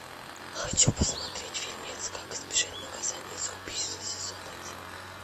хочу посмотреть фильмец как избежать наказания за убийство сезон один